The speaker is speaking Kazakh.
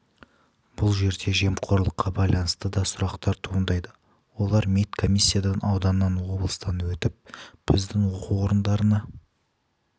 бұл жерде жемқорлыққа байланысты да сұрақтар туындайды олар медкомиссиядан ауданнан облыстан өтіп біздің оқу орындарына